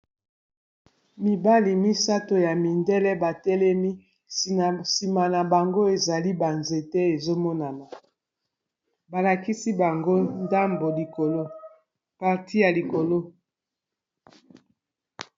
Mibali misato ya mindele batelemi nsima na bango ezali banzete ezomonana balakisi bango ndambo likolo parti ya likolo.